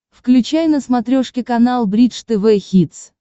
включай на смотрешке канал бридж тв хитс